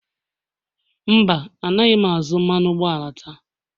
Mba, Anaghị m azụ mmanụ ụgbọala taa